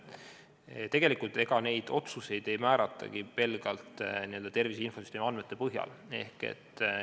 Ega tegelikult neid otsuseid ei tehtagi pelgalt tervise infosüsteemi andmete põhjal.